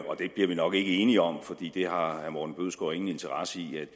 og det bliver vi nok ikke enige om for det har herre morten bødskov ingen interesse i at